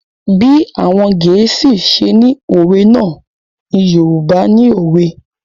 Bí àwọn Gẹ̀ẹ́sì ṣe ni òwe náà ni Yorùbá ni òwe.